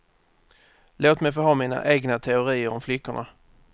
Låt mig få ha mina egna teorier om flickorna.